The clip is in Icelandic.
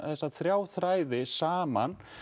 þessa þrjá þræði saman